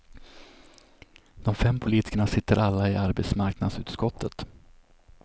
De fem politikerna sitter alla i arbetsmarknadsutskottet.